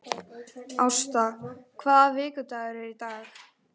Ásta, hvaða vikudagur er í dag?